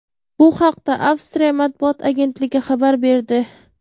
Bu haqda Avstriya matbuot agentligi xabar berdi .